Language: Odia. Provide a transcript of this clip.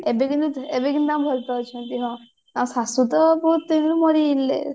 ଏବେ କିନ୍ତୁ ଏବେ କିନ୍ତୁ ଭଲ ପାଉଛନ୍ତି ନା ତା ଶାଶୁ ତ ବହୁତ ଦିନରୁ ମରି ଯାଇଥିଲେ